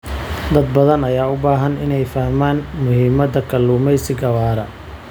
Dad badan ayaa u baahan inay fahmaan muhiimada kalluumeysiga waara.